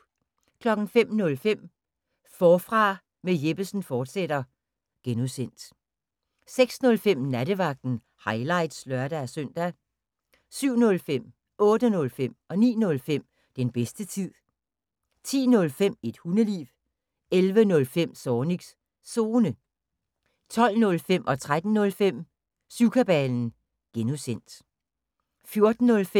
05:05: Forfra med Jeppesen fortsat (G) 06:05: Nattevagten – highlights (lør-søn) 07:05: Den bedste tid 08:05: Den bedste tid 09:05: Den bedste tid 10:05: Et hundeliv 11:05: Zornigs Zone 12:05: Syvkabalen (G) 13:05: Syvkabalen (G) 14:05: Bæltestedet – highlights